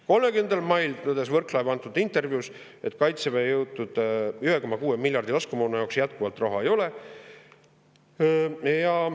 30. mail tõdes Võrklaev intervjuus, et Kaitseväe nõutud 1,6 miljardit eurot laskemoona jaoks jätkuvalt ei ole.